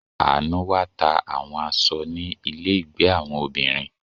Anu wá ta àwọn aṣọ ni ile ìgbé àwọn obìnrin.